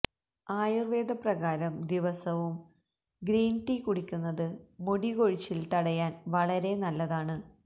ആയുര്വേദ പ്രകാരം ദിവസവും green tea കുടിയ്ക്കുന്നത് മുടികൊഴിച്ചില് തടയാന് വളരെ നല്ലതാണ്